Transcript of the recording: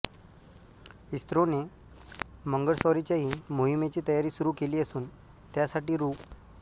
इस्रोने मंगळस्वारीच्याही मोहिमेची तयारी सुरू केली असून त्यासाठी रु